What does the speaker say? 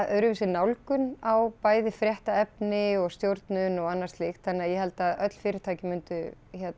öðruvísi nálgun á bæði fréttaefni og stjórnun og annað slíkt þannig að ég held að öll fyrirtæki myndu